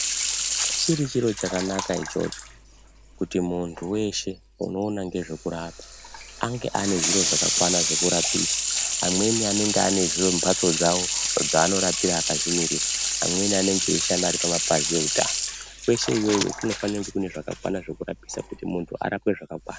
Chiri chiro chakanaka ichocho kuti muntu weshe unoona ngezvekurapa ange ane zviro zvakakwana zvekurapisa amweni anenge ane mbatso dzawo dzaanorapira akazvimirira amweni anenge eishanda ari kumapazi eutano, kweshe iyoyo kunofanire kunge kune zvakakwana zvekurapisa kuti muntu arapwe zvakakwana.